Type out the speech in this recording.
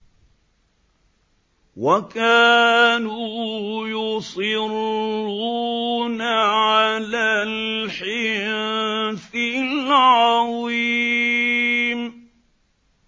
وَكَانُوا يُصِرُّونَ عَلَى الْحِنثِ الْعَظِيمِ